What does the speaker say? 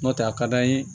N'o tɛ a ka d'an ye